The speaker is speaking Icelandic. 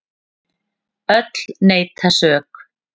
Öll neita sök.